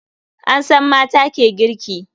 An san mata ke girki.